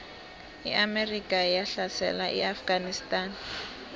iamerika yahlasela iafganistan